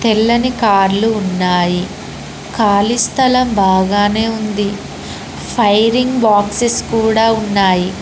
తెల్లని కార్లు ఉన్నాయి కాళీ స్థలం బాగానే ఉంది ఫైరింగ్ బాక్సస్ కూడా ఉన్నాయి.